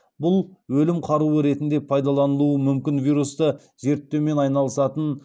бұл өлім қаруы ретінде пайдаланылуы мүмкін вирусты зерттеумен айналысатын